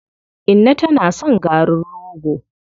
Inna tana son garin rogo.